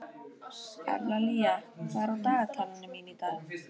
Evlalía, hvað er á dagatalinu mínu í dag?